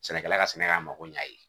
Sɛnɛkɛla ka sɛnɛ ka mago ɲa a ye